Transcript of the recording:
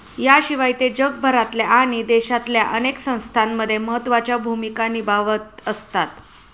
याशिवाय ते जगभरातल्या आणि देशातल्या अनेक संस्थांमध्ये महत्वाच्या भूमिका निभावत असतात.